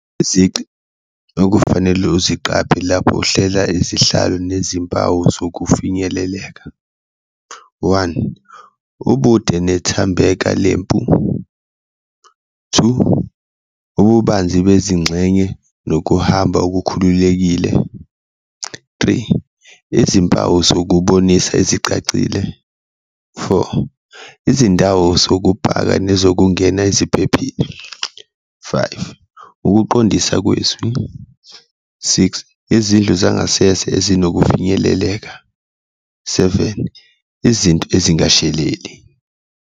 Izici okufanele uziqaphe lapho uhlela isihlalo nezimpawu zokufinyeleleka, one, ubude nethambeka lempu, two, ububanzi bezingxenye nokuhamba olukhululekile, three, izimpawu zokubonisa ezicacile, four, izindawo zokupaka nezokungena eziphephile, five, ukuqondisa kwezwi, six, izindlu zangasese ezinokufinyeleleka, seven, izinto ezingasheleli.